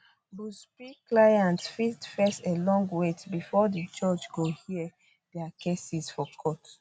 buzbee clients fit face a long wait bifor di judge go hear dia cases for court